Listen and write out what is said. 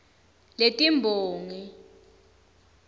letimbongi